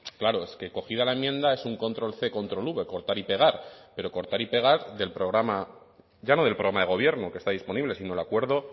claro es que cogida la enmienda es un control c control v cortar y pegar pero cortar y pegar del programa ya no del programa de gobierno que está disponible sino el acuerdo